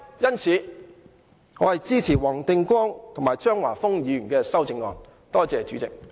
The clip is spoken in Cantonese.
因此，我支持黃定光議員和張華峰議員的修正案。